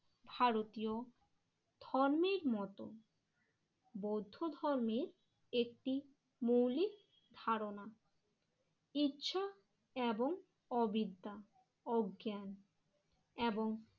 ভারতীয় ধর্মের মতো বৌদ্ধ ধর্মের একটি মৌলিক ধারণা। ইচ্ছা এবং অবিদ্যা অজ্ঞান এবং